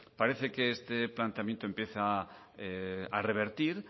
parece que este planteamiento empieza a revertir